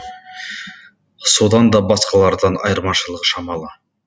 содан да басқалардан айырмашылығы шамалы